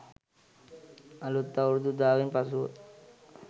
අලුත් අවුරුදු උදාවෙන් පසුව